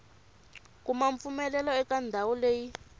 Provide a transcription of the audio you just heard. kuma mpfumelelo eka ndhawu leyi